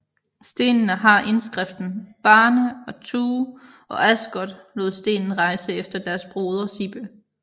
Stenene har indskriften Barne og Tue og Asgot lod stenen rejse efter deres broder Sibbe